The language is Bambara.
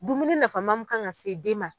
Dumuni nafama mun kan ka se den ma.